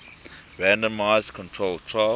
randomized controlled trials